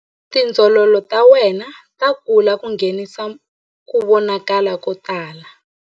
Tindzololo ta wena ta kula ku nghenisa ku vonakala ko tala.